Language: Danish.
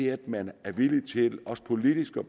at man er villig til også politisk at